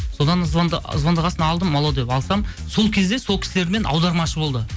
содан звондаған соң алдым алло деп алсам сол кезде сол кісілермен аудармашы болды